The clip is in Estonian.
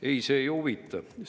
Ei, see ei huvita kedagi!